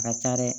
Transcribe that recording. A ka ca dɛ